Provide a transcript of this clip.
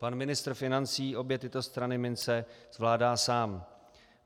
Pan ministr financí obě tyto strany minci zvládá sám.